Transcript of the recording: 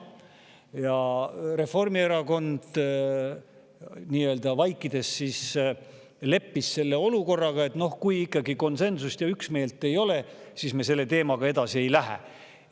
Ja Reformierakond vaikides siis leppis selle olukorraga: noh, kui ikkagi konsensust ja üksmeelt ei ole, siis me selle teemaga edasi ei lähe.